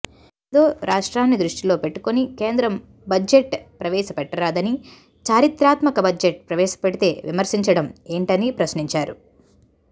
ఏదో రాష్ట్రాన్ని దృష్టిలో పెట్టుకొని కేంద్రం బడ్జెట్ ప్రవేశపెట్టదని చారిత్రాత్మక బడ్జెట్ ప్రవేశపెడితే విమర్శించడం ఏంటని ప్రశ్నించారు